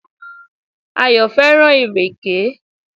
Ayò fẹ́ràn ìrèké